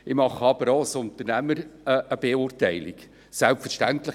Ich nehme aber auch als Unternehmer eine Beurteilung vor.